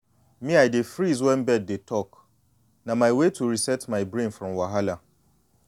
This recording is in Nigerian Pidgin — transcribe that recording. me i dey freeze wen bird dey talk—na my way to reset my brain from wahala